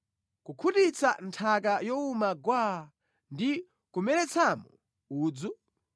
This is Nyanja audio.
kukhutitsa nthaka yowuma yagwaa ndi kumeretsamo udzu?